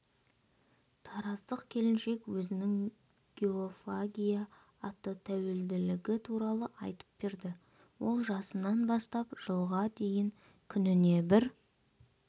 тараздық келіншек өзінің геофагия атты тәуелділігі туралы айтып берді ол жасынан бастап жылға дейін күніне бір